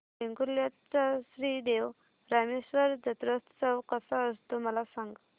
वेंगुर्ल्या चा श्री देव रामेश्वर जत्रौत्सव कसा असतो मला सांग